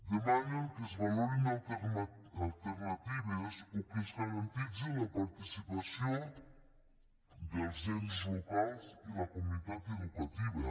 demanen que es valorin alternatives o que es garantitzi la participació dels ens locals i la comunitat educativa